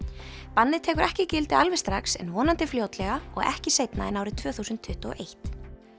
bannið tekur ekki gildi alveg strax en vonandi fljótlega og ekki seinna en árið tvö þúsund tuttugu og eitt